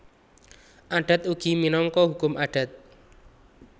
Adat ugi minangka hukum adat